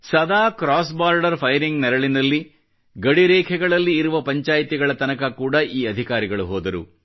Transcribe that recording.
ಸದಾ cross border firing ನೆರಳಲ್ಲಿ ಗಡಿ ರೇಖೆಗಳಲ್ಲಿ ಇರುವ ಪಂಚಾಯ್ತಿಗಳ ತನಕ ಕೂಡ ಈ ಅಧಿಕಾರಿಗಳು ಹೋದರು